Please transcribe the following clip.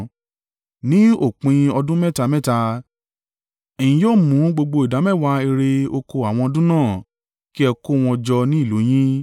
Ní òpin ọdún mẹ́ta mẹ́ta, ẹ̀yin yóò mú gbogbo ìdámẹ́wàá ìre oko àwọn ọdún náà, kí ẹ kó wọn jọ ní ìlú yín.